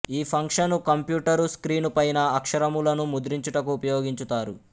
ఈ function computer screen పైన అక్షరములను ముద్రించుటకు ఉపయోగించుతారు